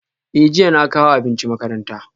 Eh jiya na kawo abinci makaranta